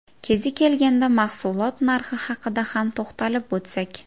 Kezi kelganda mahsulot narxi haqida ham to‘xtalib o‘tsak.